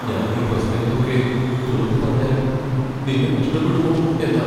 ഞാൻ ഈ പ്രശ്നങ്ങൾ ഒക്കെ തുറന്നു പറഞ്ഞാൽ നിന്നെ നഷ്ടപ്പെടുമോ എന്നാ.